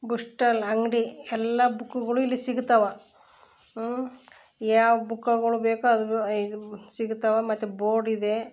Bookstall ಅಂಗಡಿ ಎಲ್ಲ ಬುಕ್ಕು ಗುಳು ಇಲ್ಲಿ ಸಿಗುತಾವ ಉಹ್ ಯಾವ್ ಬುಕ್ಕು ಗಳು ಬೇಕೊ ಅದು ಸಿಗುತವೋ ಮತ್ತೆ ಬೋರ್ಡ್ ಇದೆ .